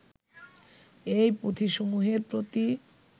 এই পুঁথিসমুহের প্রতি